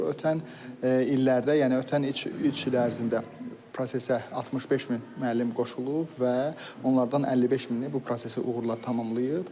Ötən illərdə, yəni ötən üç il ərzində prosesə 65 min müəllim qoşulub və onlardan 55 mini bu prosesi uğurla tamamlayıb.